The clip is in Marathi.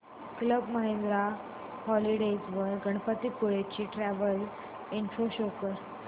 क्लब महिंद्रा हॉलिडेज वर गणपतीपुळे ची ट्रॅवल इन्फो शो कर